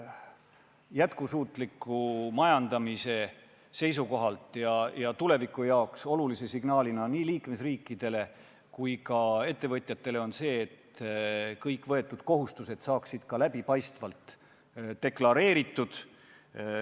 Jätkusuutliku majandamise seisukohast ja tuleviku jaoks olulise signaalina on nii liikmesriikidele kui ka ettevõtjatele vajalik see, et kõik võetud kohustused saaksid läbipaistvalt deklareeritud.